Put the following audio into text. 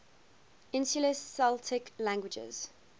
insular celtic languages